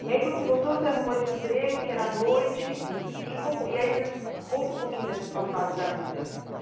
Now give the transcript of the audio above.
E aí, quando você voltou, você arrumou esse emprego, que era à noite, isso, e como, e aí vocês conta um pouquinho dessa sua fase da vida.